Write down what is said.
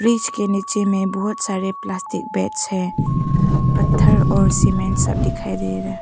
इसके नीचे में बहुत सारे प्लास्टिक बैग्स हैं पत्थर और सीमेंट सब दिखाई दे रहा।